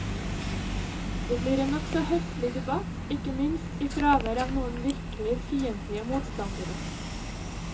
Det blir en nokså høflig debatt, ikke minst i fravær av noen virkelig fiendtlige motstandere.